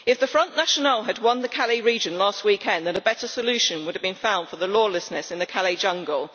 If the Front National had won the Calais region last weekend a better solution would have been found for the lawlessness in the Calais jungle.